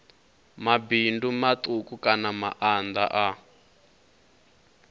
mabindu matuku kana maanda a